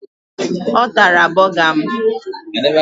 Ọ tara bọga m?